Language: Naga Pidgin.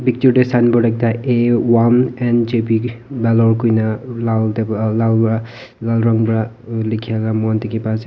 picture te signboard ekta a one and jbd parlour koi ne lal te para lal ran para likhia moi khan dikhi pa ase.